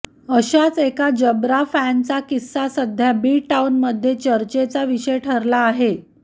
अशाच एका जबरा फॅनचा किस्सा सध्या बी टाऊनमध्ये चर्चेचा विषय ठरला आहे